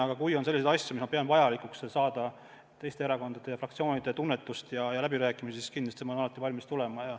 Aga kui on selliseid asju, mille puhul ma pean vajalikuks saada teiste erakondade ja fraktsioonide tunnetust ja asju läbi rääkida, siis kindlasti ma olen alati valmis tulema.